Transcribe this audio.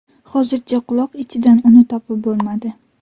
Hozircha quloq ichidan uni topib bo‘lmadi.